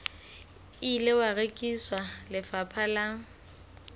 ile wa rekisetswa lefapha la